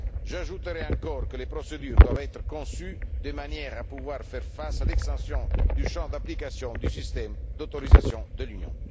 J'ajouterai encore que les procédures doivent être conçues de manière à pouvoir faire face à l'extension du champ d'application du système d'autorisation de l'Union.